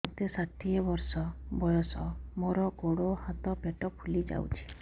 ମୋତେ ଷାଠିଏ ବର୍ଷ ବୟସ ମୋର ଗୋଡୋ ହାତ ପେଟ ଫୁଲି ଯାଉଛି